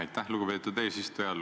Aitäh, lugupeetud eesistuja!